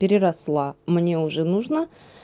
переросла мне уже нужно